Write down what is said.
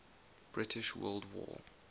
british world war